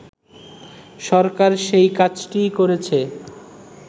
সরকার সেই কাজটিই করেছে